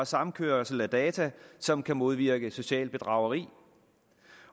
samkørsel af data som kan modvirke socialbedrageri